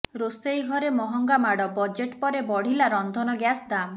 ରୋଷେଇ ଘରେ ମହଙ୍ଗା ମାଡ଼ ବଜେଟ୍ ପରେ ବଢିଲା ରନ୍ଧନ ଗ୍ୟାସ୍ ଦାମ୍